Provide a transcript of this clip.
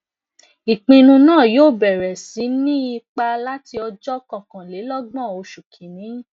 ipinnu naa yoo bẹrẹ si ni ipa lati ọjọ kọkanlelogbon oṣù kinni